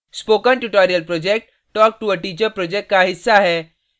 spoken tutorial project talktoa teacher project का हिस्सा है